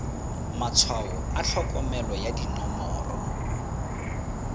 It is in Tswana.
matshwao a tlhokomelo ya dinomoro